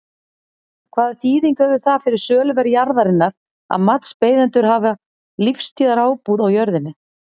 Hvaða þýðingu hefur það fyrir söluverð jarðarinnar að matsbeiðendur hafa lífstíðarábúð á jörðinni?